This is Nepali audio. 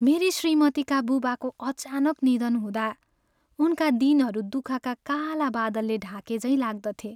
मेरी श्रीमतीका बुबाको अचानक निधन हुँदा उनका दिनहरू दुःखका काला बादलले ढाकेझैँ लाग्दथे।